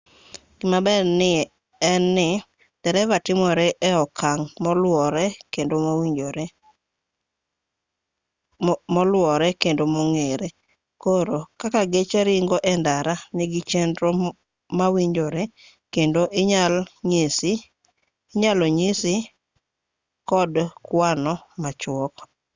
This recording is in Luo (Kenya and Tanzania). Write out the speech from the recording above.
gimaber en ni dereva timore e okang' moluwore kendo mong'ere koro kaka geche ringo e ndara nigi chenro mawinjore kendo inyal nyisi kod kwano machuok